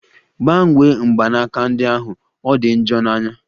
Gbanwe mgbanaka ndi ahụ! Ọ di njọ n'anya